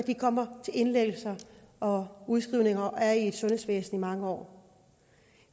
det kommer til indlæggelser og udskrivninger og er i sundhedsvæsenet i mange år